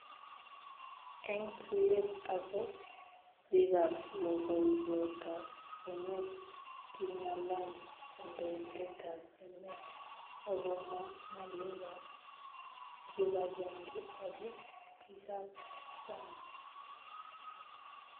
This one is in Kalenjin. Eng tuiyet ago bikab logoiywekab emet, kingalal kandoindetab emet agomwa ngalekab kibagenge ago bikab sang